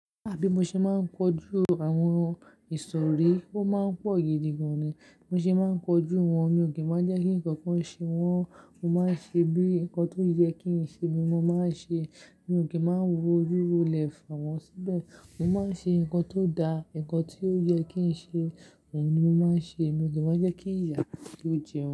Bí mo ṣe máa ń kojú àwọn ìsòrí, ó máa ń pọ̀ gidigan ni. Mo ṣe máa ń kojú wọn, mi ò kí ń má jẹ́ kí nǹkan kan ṣe wọ́n, mo máa ń ṣe bí nǹkan tó yẹ kí ń ṣe, bí mo máa ń ṣe, mi ò kí ń má wo ojú ro lè fà wọ́n síbẹ̀. Mo máa ń ṣe nǹkan tó da, nǹkan tí ó yẹ kí ń ṣe, òun ni mo máa ń ṣe. Mi ò kí ń má jẹ́ kí ìyà kí ó jẹ wọ́n.